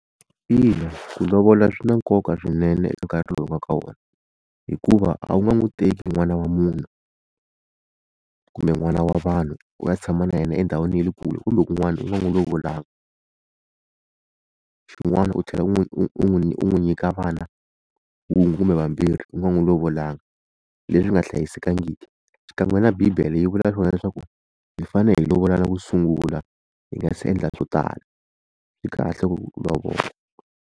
Ina ku lovola swi na nkoka swinene eka nkarhi lowu hi nga ka wona hikuva a wu nga n'wi teki n'wana wa munhu kumbe n'wana wa vanhu u ya tshama na yena endhawini ya le kule kumbe kun'wana u nga n'wi lovolanga, xin'wana u tlhela u n'wi u n'wi u n'wi u n'wi nyika vana wun'we kumbe vambirhi u nga n'wi lovolanga leswi nga hlayisekangiki xikan'we na bibele yi vula swona leswaku hi fanele hi lovolana ku sungula hi nga se endla swo tala swi kahle ku lovola.